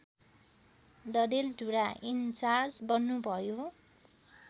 Dadeldhura incharge बन्नुभयो